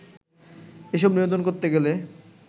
এসব নিয়ন্ত্রণ করতে গেলে